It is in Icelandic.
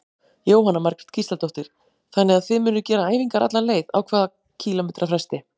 Jóhanna Margrét Gísladóttir: Þannig að þið munuð gera æfingar alla leið, á hvað kílómetra fresti?